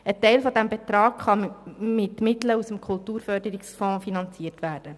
Ein Teil dieses Betrags kann mit Mitteln aus dem Kulturförderungsfonds finanziert werden.